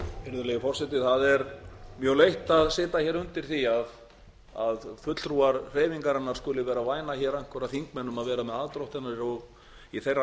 virðulegi forseti það er mjög leitt að sitja hér undir því að fulltrúar hreyfingarinnar skuli væna hér einhverja þingmenn um að vera með aðdróttanir í þeirra